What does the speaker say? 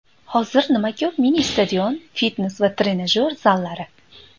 Hozir nima ko‘p mini-stadion, fitnes va trenajyor zallari.